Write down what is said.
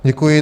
Děkuji.